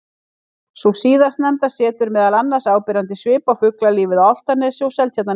Sú síðastnefnda setur meðal annars áberandi svip á fuglalífið á Álftanesi og Seltjarnarnesi.